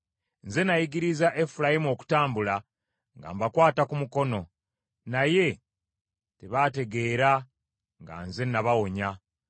Nze nayigiriza Efulayimu okutambula, nga mbakwata ku mukono; naye tebategeera nga nze nabawonya.